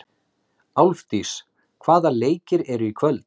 Álfdís, hvaða leikir eru í kvöld?